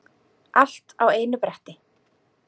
Alla á einu bretti.